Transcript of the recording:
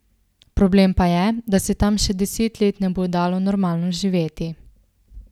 Problem pa je, da se tam še deset let ne bo dalo normalno živeti.